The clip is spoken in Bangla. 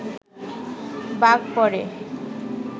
বাঘ পড়ে